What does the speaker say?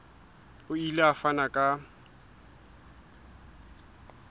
o ile a fana ka